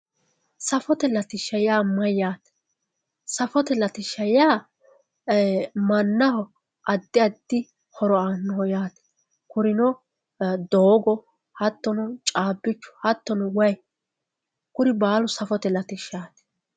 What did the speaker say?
safote latishsha yaa mayyaate safote latishsha yaa mannaho addi addi horo aannoho yaate kurino doogo hattono caabbichu hattono wayii kuni baalu safote latishshaati.